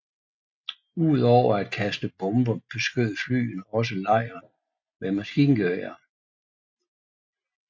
Udover at kaste bomber beskød flyene også lejren med mskingeværer